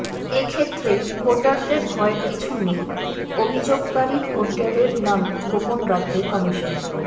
এক্ষেত্রে ভোটারদের ভয়ের কিছু নেই অভিযোগকারী ভোটারের নাম গোপন রাখবে কমিশন